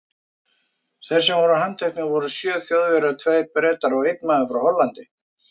Þeir sem voru handteknir voru sjö Þjóðverjar, tveir Bretar og einn maður frá Hollandi.